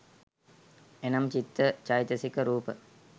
එනම් චිත්ත චෛතසික රූප